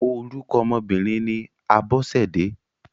Orúkọ ọmọ obìnrin ni Abọ́sẹ̀dé.